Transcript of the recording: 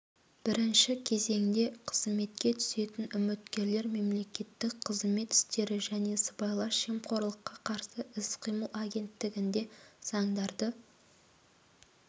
бірінші кезеңде қызметке түсетін үміткерлер мемлекеттік қызмет істері және сыбайлас жемқорлыққа қарсы іс-қимыл агенттігінде заңдарды